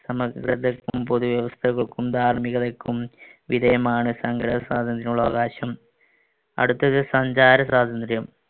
പൊതുവ്യവസ്ഥകൾക്കും ധാർമ്മികതക്കും വിധേയമാണ് സംഘടനാസ്വാതന്ത്ര്യത്തിനുള്ള അവകാശം. അടുത്തത് സഞ്ചാര സ്വാതന്ത്ര്യം.